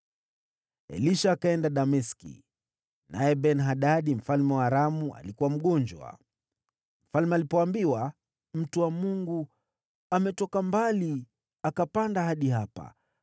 Elisha akaenda Dameski, naye Ben-Hadadi mfalme wa Aramu alikuwa mgonjwa. Mfalme alipoambiwa, “Mtu wa Mungu ametoka mbali akapanda hadi hapa,”